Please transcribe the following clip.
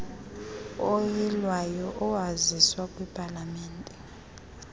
oyilwayo owaziswa kwipalamente